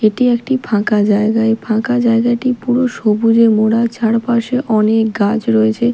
এটি একটি ফাঁকা জায়গা এই ফাঁকা জায়গাটি পুরো সবুজে মোড়া চারপাশে অনেক গাছ রয়েছে।